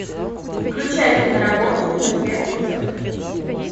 включай киноработу мертвец идет